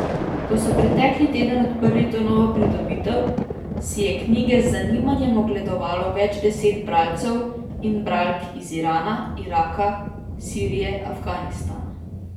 Ko so pretekli teden odprli to novo pridobitev, si je knjige z zanimanjem ogledovalo več deset bralcev in bralk iz Irana, Iraka, Sirije, Afganistana...